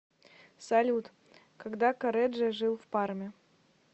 салют когда корреджо жил в парме